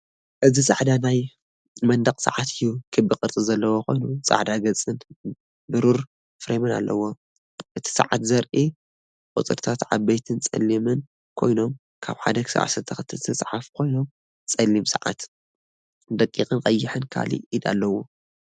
እዚ ጻዕዳ ናይ መንደቕ ሰዓት እዩ። ክቢ ቅርጺ ዘለዎ ኮይኑ ጻዕዳ ገጽን ብሩር ፍሬምን ኣለዎ። እቲ ሰዓት ዘርእዩ ቁጽርታት ዓበይትን ጸሊምን ኮይኖም ካብ 1 ክሳብ 12 ዝተጻሕፉ ኮይኖም ጸሊም ሰዓት፡ ደቒቕን ቀይሕን ካልኣይ ኢድ ኣለዎ።